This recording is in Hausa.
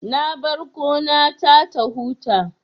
Na bar gona ta ta huta